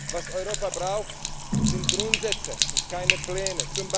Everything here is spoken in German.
Was Europa braucht, sind Grundsätze und keine